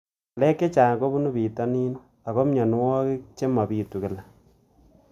Ng'alek chechang' kopunu pitonin ako mianwogik che mapitu kila